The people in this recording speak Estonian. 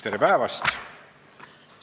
Tere päevast!